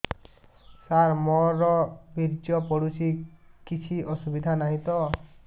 ସାର ମୋର ବୀର୍ଯ୍ୟ ପଡୁଛି କିଛି ଅସୁବିଧା ନାହିଁ ତ